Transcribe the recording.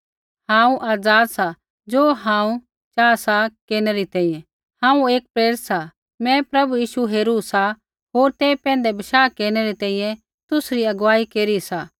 हांऊँ आज़ाद सा ज़ो हांऊँ चाहा सा केरनै री तैंईंयैं हांऊँ एक प्रेरित सा मैं प्रभु यीशु हेरू सा होर तेई पैंधै बशाह केरनै री तैंईंयैं तुसरी अगुवाई केरी सा